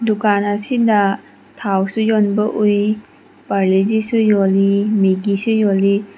ꯗꯨꯀꯥꯟ ꯑꯁꯤꯗ ꯊꯥꯎꯁꯨ ꯌꯣꯟꯕ ꯎꯏ ꯄꯥꯔꯂꯦꯖꯤ ꯁꯨ ꯌꯣꯜꯂꯤ ꯃꯦꯒꯤ ꯁꯨ ꯌꯣꯜꯂꯤ꯫